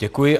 Děkuji.